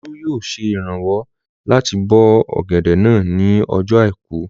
Olú yóò ṣe ìrànwọ́ láti bó ọ̀gẹ̀dẹ̀ náà ní ọjọ́ àìkú